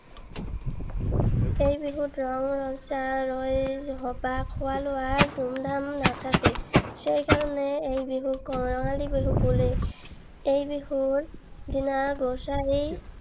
এই বিহুত ৰং, ৰহইচ, খোৱা লোৱাৰ ধুমধাম নাথাকে। সেইকাৰণে এই বিহুক কঙালী বিহু বোলে। এই বিহুৰ দিনা বাৰীৰ